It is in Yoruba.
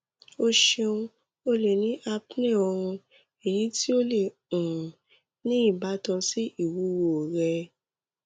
o ṣeun o le ni apnea oorun eyi ti o le um ni ibatan si iwuwo rẹ